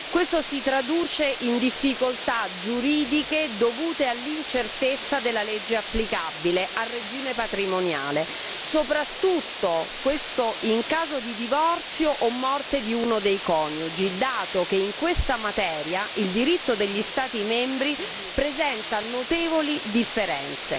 Questa situazione dà origine a difficoltà giuridiche dovute all'incertezza della legge applicabile al regime patrimoniale, soprattutto in caso di divorzio o morte di uno dei coniugi, dato che in questa materia il diritto degli Stati membri presenta notevoli differenze.